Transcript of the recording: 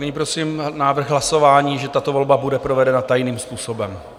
Nyní prosím návrh hlasování, že tato volba bude provedena tajným způsobem.